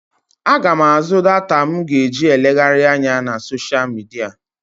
Aga m àzú data m ga-eji elegharị anya na soshial midia.